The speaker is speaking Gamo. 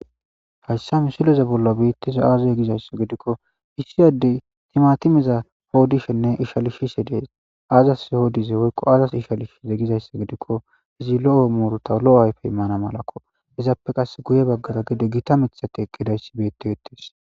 Haysa misilezan bola beetizay aze giza gidiko issi ade timatimeza qoodishene ishalishe de'es azas qoodize woyko azas ishalize gizaba gidiko zi lo'o muruta imana malako izape qase guye bagara githa mithay ka eqizaysi beetetes